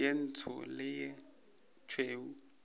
ye ntsho le ye tšhweu